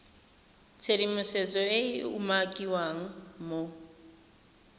tshedimosetso e e umakiwang mo